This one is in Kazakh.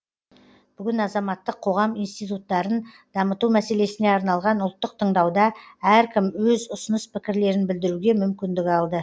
бүгін азаматтық қоғам институттарын дамыту мәселесіне арналған ұлттық тыңдауда әркім өз ұсыныс пікірлерін білдіруге мүмкіндік алды